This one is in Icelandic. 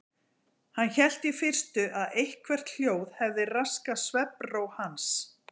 Hann hélt í fyrstu að eitthvert hljóð hefði raskað svefnró hans.